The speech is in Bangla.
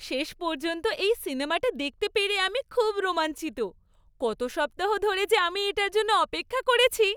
শেষ পর্যন্ত এই সিনেমাটা দেখতে পেরে আমি খুব রোমাঞ্চিত! কত সপ্তাহ ধরে যে আমি এটার জন্য অপেক্ষা করেছি!